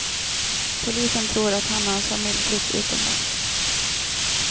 Polisen tror att han och hans familj flytt utomlands.